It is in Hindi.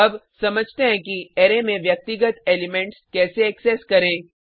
अब समझते हैं कि अरै में व्यक्तिगत एलिमेंट्स कैसे एक्सेस करें